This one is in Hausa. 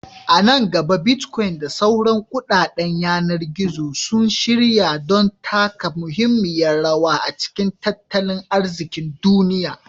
A nan gaba, Bitcoin da sauran kuɗaɗen yanar gizo sun shirya don taka muhimmiyar rawa a cikin tattalin arzikin duniya.